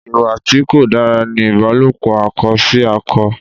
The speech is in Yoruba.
Ìwà tí kò dára ní ìbálòpò akọ sí akọ.